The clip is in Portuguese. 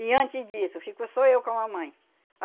E antes disso, ficou só eu com a mamãe.